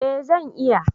Eh zan iya